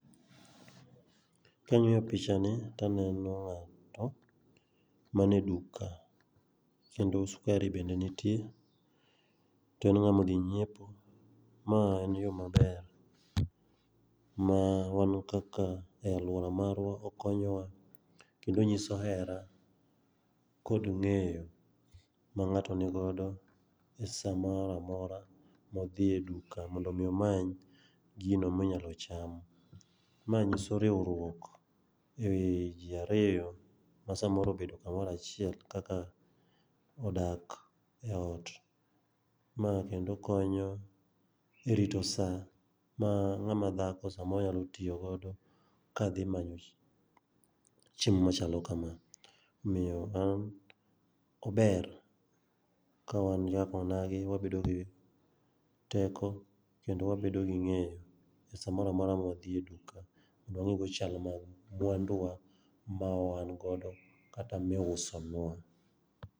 Kang'iyo pichani taneno ng'ato mane duka kendo skari bende nitie, to en ng'ama odhi nyiepo. Ma en yo maber ma wan kaka e alwora marwa, okonyowa kendo onyis hera kod ng'aeyo ma ng'ato ni godo gi sama mora mora modhi e duka mondo omi omany gino monyalo chamo. Ma nyiso riwruok e ji ariyo ma samoro obedo kamoro achiel kaka odak e ot. Ma kendo konyo e rito sa ma ng'ama dhako samoro nyalo tiyo godo kadhi manyo chiemo machalo kama. Omiyo an ,ober ka wan kaka onagi wabedo gi teko kendo wabedo gi ng'eyo e sa mora mora ma wadhi e duka mondo wang'igo chal mag mwanduwa mawan godo kata miuso nwa.